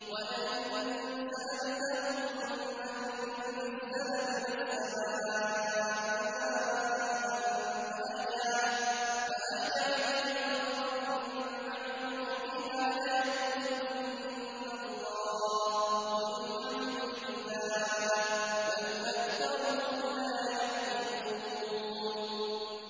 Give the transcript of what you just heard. وَلَئِن سَأَلْتَهُم مَّن نَّزَّلَ مِنَ السَّمَاءِ مَاءً فَأَحْيَا بِهِ الْأَرْضَ مِن بَعْدِ مَوْتِهَا لَيَقُولُنَّ اللَّهُ ۚ قُلِ الْحَمْدُ لِلَّهِ ۚ بَلْ أَكْثَرُهُمْ لَا يَعْقِلُونَ